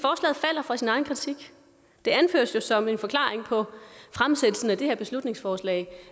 det anføres jo som en forklaring på fremsættelsen af det her beslutningsforslag